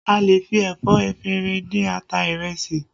A lè fi ẹ̀fọ́ efinrin dín ata ìrẹsì